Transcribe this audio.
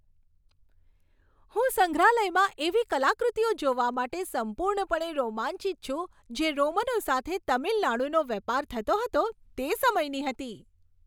હું સંગ્રહાલયમાં એવી કલાકૃતિઓ જોવા માટે સંપૂર્ણપણે રોમાંચિત છું, જે રોમનો સાથે તમિલનાડુનો વેપાર થતો હતો તે સમયની હતી.